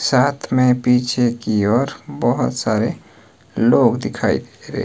साथ में पीछे की ओर बहोत सारे लोग दिखाई रहे--